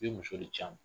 I bɛ muso de ci a ma